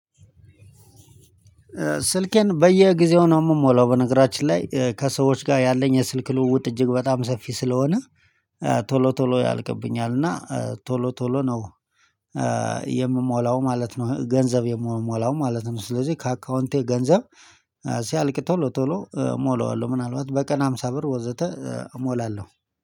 ስልኬን በየጊዜው ነው የምሞላው በነገራችን ላይ ከሰዎች ጋር ያለኝ የስልክ ልውውጥ እጅግ በጣም ሰፊ ስለሆነ ቶሎ ቶሎ ያልቅብኛል እና ቶሎ ቶሎ ነው የምሞላው ማለት ነው። ገንዘብ የምሞላው ማለት ነው ስለዚህ ከአካውንቴ ገንዘብ ሲያልቅ ቶሎ ቶሎ እሞላዋለሁ ምናልባት በቀን ሃምሳ ብር ወዘተ እሞላለሁ።